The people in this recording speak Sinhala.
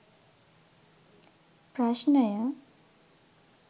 ප්‍රශ්නය